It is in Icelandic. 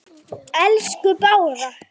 Mun alltaf minnast þeirra.